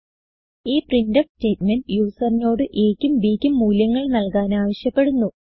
ഈ printf statement യൂസറിനോട് aക്കും bക്കും മൂല്യങ്ങൾ നല്കാൻ ആവിശ്യപ്പെടുന്നു